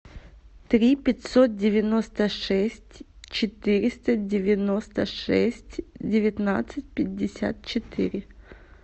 три пятьсот девяносто шесть четыреста девяносто шесть девятнадцать пятьдесят четыре